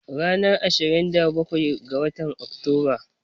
Ranar Ashirin da bakwai ga watan Oktoba.